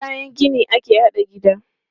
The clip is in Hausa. Da kayan gini ake haɗa gida.